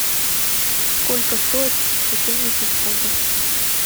сколько стоит сто семьдесят фунтов